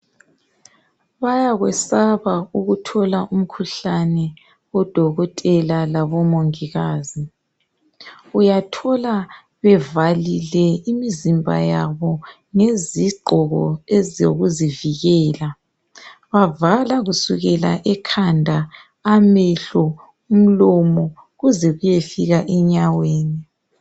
Bayakwesaba ukuthola umkhuhlane odokotela labomongikazi. Uyathola bevalile imizimba yabo ngezigqoko ezokuzivikela. Bavala kusukela ekhanda, amehlo, umlomo kuze kuyefika enyaweni.